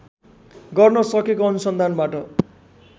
गर्न सकेको अनुसन्धानबाट